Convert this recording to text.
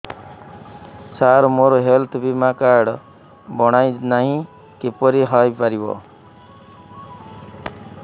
ସାର ମୋର ହେଲ୍ଥ ବୀମା କାର୍ଡ ବଣାଇନାହିଁ କିପରି ହୈ ପାରିବ